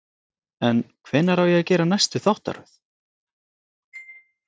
En hvenær á að gera næstu þáttaröð?